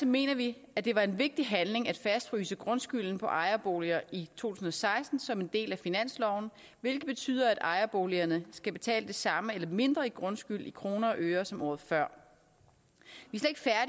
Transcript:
mener vi at det var en vigtig handling at fastfryse grundskylden på ejerboliger i tusind og seksten som en del af finansloven hvilket betyder at boligejerne skal betale det samme eller mindre i grundskyld i kroner og øre som året før